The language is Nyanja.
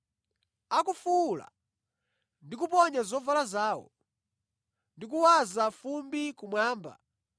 Akufuwula ndi kuponya zovala zawo ndi kuwaza fumbi kumwamba,